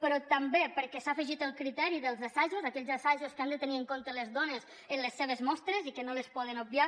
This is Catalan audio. però també perquè s’ha afegit el criteri dels assajos aquells assajos que han de tenir en compte les dones en les seves mostres i que no les poden obviar